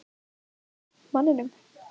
Boði: Manninum?